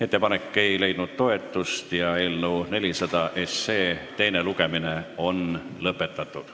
Ettepanek ei leidnud toetust ja eelnõu 400 teine lugemine on lõpetatud.